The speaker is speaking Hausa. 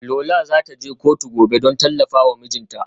Lola za ta je kotu gobe don tallafa wa mijinta.